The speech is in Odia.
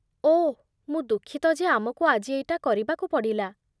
ଓଃ, ମୁଁ ଦୁଃଖିତ ଯେ ଆମକୁ ଆଜି ଏଇଟା କରିବାକୁ ପଡ଼ିଲା ।